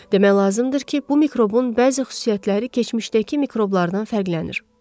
Demək lazımdır ki, bu mikrobun bəzi xüsusiyyətləri keçmişdəki mikroblardan fərqlənir.